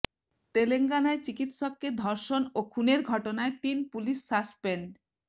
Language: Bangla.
তেলেঙ্গানায় চিকিৎসককে ধর্ষণ ও খুনের ঘটনায় তিন পুলিশ সাসপেন্ড